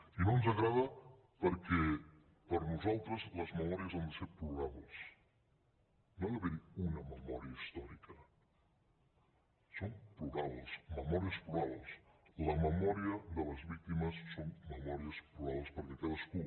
i no ens agrada perquè per nosaltres les memòries han de ser plurals no ha d’haver hi una memòria històrica són plurals memòries plurals les memòries de les víctimes són memòries plurals perquè cadascú